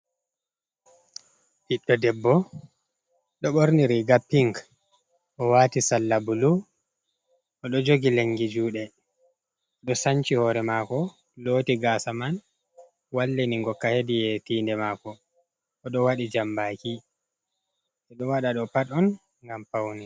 Ɓiddo debbo ɗo ɓorni riga pink, o wati salla bulu. Oɗo jogi lengi juɗe, ɗo sanci hore mako loti gasa man wallini godka hedi tinde mako. Oɗo waɗi jambaki oɗo waɗa ɗo pat on ngam pawne.